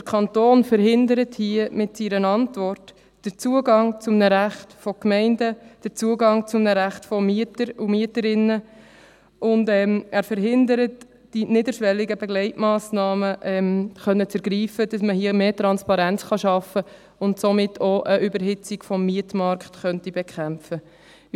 Der Kanton verhindert hier mit seiner Antwort den Zugang zu einem Recht von Gemeinden, den Zugang zu einem Recht von Mietern und Mieterinnen, und er verhindert die Ergreifung niederschwelliger Begleitmassnahmen, damit hier mehr Transparenz geschaffen und eine Überhitzung des Mietmarktes bekämpft werden kann.